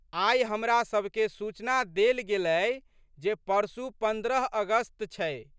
आइ हमरासबके सूचना देल गेलै जे परसू पन्द्रह अगस्त छै।